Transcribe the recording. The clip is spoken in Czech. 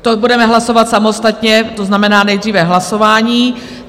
To budeme hlasovat samostatně, to znamená nejdříve hlasování.